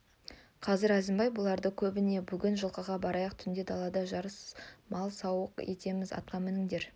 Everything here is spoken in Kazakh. қазір әзімбай бұлардың да көбіне бүгін жылқыға барайық түнде далада жарыс салып сауық етеміз атқа мініндер